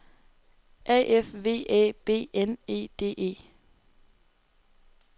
A F V Æ B N E D E